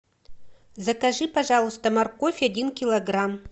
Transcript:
закажи пожалуйста морковь один килограмм